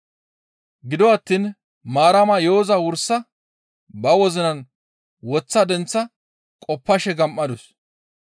Gido attiin Maarama yo7oza wursa ba wozinan woththa denththa qoppashe gam7adus.